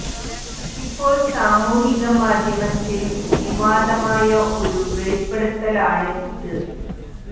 ഇപ്പോൾ സാമൂഹിക മാധ്യമത്തിൽ വിവാദമായ ഒരു വെളിപ്പെടുത്തൽ ആണ് ഇത്